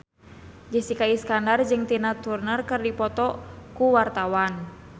Jessica Iskandar jeung Tina Turner keur dipoto ku wartawan